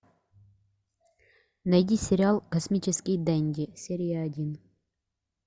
найди сериал космический денди серия один